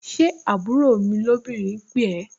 Ṣé àbúrò mi lóbìnrin pè ẹ́?